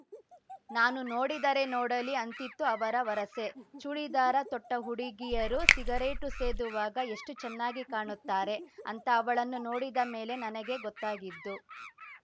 ನಾನು ನೋಡಿದರೆ ನೋಡಲಿ ಅಂತಿತ್ತು ಅವರ ವರಸೆ ಚೂಡಿದಾರ ತೊಟ್ಟಹುಡುಗಿಯರು ಸಿಗರೇಟು ಸೇದುವಾಗ ಎಷ್ಟುಚೆನ್ನಾಗಿ ಕಾಣುತ್ತಾರೆ ಅಂತ ಅವಳನ್ನು ನೋಡಿದ ಮೇಲೆ ನನಗೆ ಗೊತ್ತಾಗಿದ್ದು